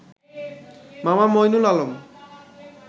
মামা মঈনুল আলম